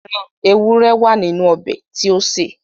Ẹran ewúré wà nínú ọbẹ̀ tí ó sè